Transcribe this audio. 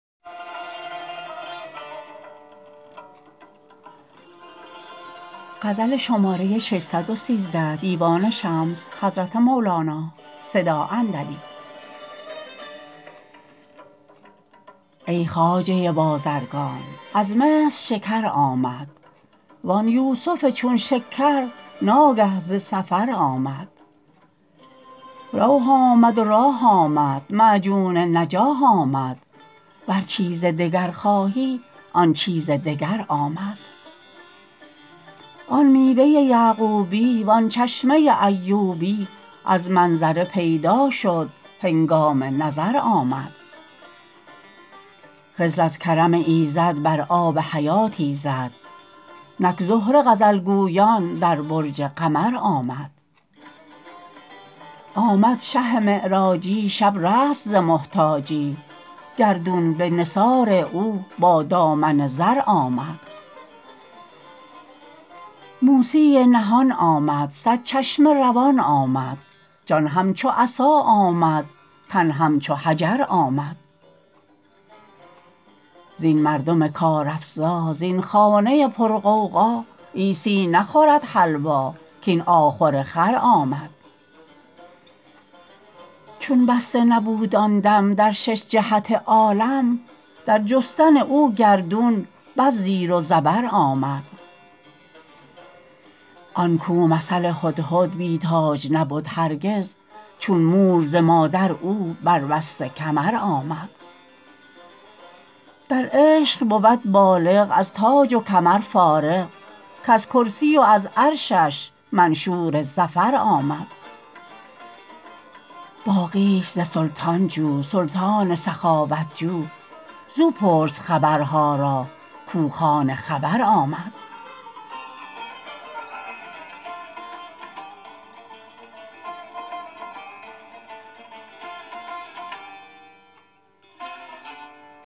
ای خواجه بازرگان از مصر شکر آمد وان یوسف چون شکر ناگه ز سفر آمد روح آمد و راح آمد معجون نجاح آمد ور چیز دگر خواهی آن چیز دگر آمد آن میوه یعقوبی وان چشمه ایوبی از منظره پیدا شد هنگام نظر آمد خضر از کرم ایزد بر آب حیاتی زد نک زهره غزل گویان در برج قمر آمد آمد شه معراجی شب رست ز محتاجی گردون به نثار او با دامن زر آمد موسی نهان آمد صد چشمه روان آمد جان همچو عصا آمد تن همچو حجر آمد زین مردم کارافزا زین خانه پرغوغا عیسی نخورد حلوا کاین آخور خر آمد چون بسته نبود آن دم در شش جهت عالم در جستن او گردون بس زیر و زبر آمد آن کو مثل هدهد بی تاج نبد هرگز چون مور ز مادر او بربسته کمر آمد در عشق بود بالغ از تاج و کمر فارغ کز کرسی و از عرشش منشور ظفر آمد باقیش ز سلطان جو سلطان سخاوت خو زو پرس خبرها را کو کان خبر آمد